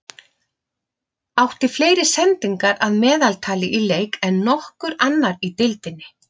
Átti fleiri sendingar að meðaltali í leik en nokkur annar í deildinni.